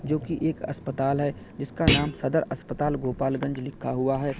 जोकि एक अस्पताल है जिसका नाम सदर अस्पताल गोपालगंज लिखा हुआ है।